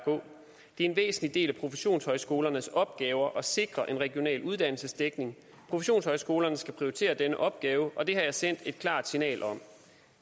en væsentlig del af professionshøjskolernes opgaver at sikre en regional uddannelsesdækning professionshøjskolerne skal prioritere denne opgave og det har jeg sendt et klart signal om